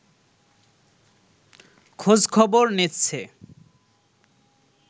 খোঁজখবর নিচ্ছে